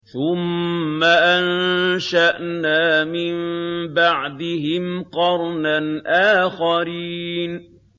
ثُمَّ أَنشَأْنَا مِن بَعْدِهِمْ قَرْنًا آخَرِينَ